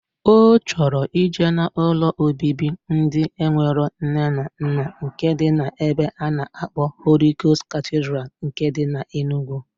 O choro ije na ụlọ obibi ndi enwero nne na nna nke di na ebe ana akpo Holy Ghost Cathedral nke di na Enugu.